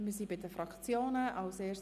Wir sind bei den Fraktionsvoten angelangt.